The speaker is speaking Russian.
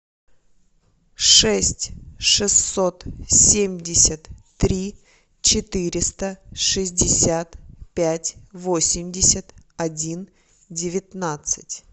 шесть шестьсот семьдесят три четыреста шестьдесят пять восемьдесят один девятнадцать